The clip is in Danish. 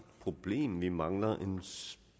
problem for vi mangler en